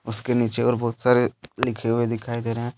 उसके नीचे और बहुत सारे लिखे हुए दिखाई दे रहे हैं।